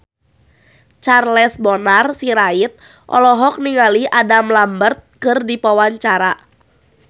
Charles Bonar Sirait olohok ningali Adam Lambert keur diwawancara